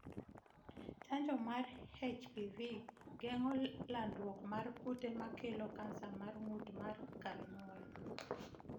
Chanjo mar HPV geng'o landruok mar kute makelo cancer mar ng'ut mar kar nyuol